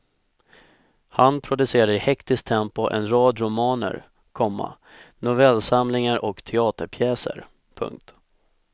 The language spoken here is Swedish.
Han producerade i hektiskt tempo en rad romaner, komma novellsamlingar och teaterpjäser. punkt